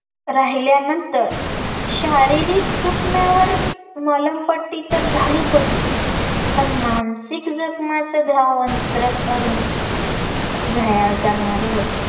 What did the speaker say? राहिल्यानंतर शारीरिक जखम्यांवर मलमपट्टी तर झालीच होती, पन मानसिक जखम्याचं घाव अंतरंग अरुण घायाळ करणारे होते